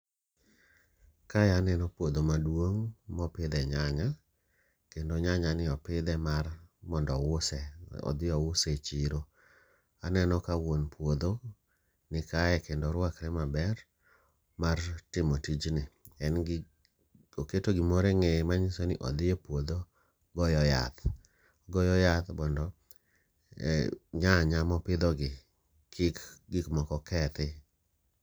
Kae aneno puodho maduong mopidhe nyanya kendo nyanya ni opidhe mar mondo ouse odhi ouse e chiro. Aneno ka wuon puodho ni kae kendo orwakre maber mar timo tijni. En gi oketo gimoro eng'eye manyiso odhi e puodho goyo yath, ogoyo yath mondo nyanya mopidho gi kik gik moko kethi.